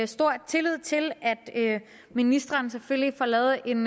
stor tillid til at ministeren selvfølgelig får lavet en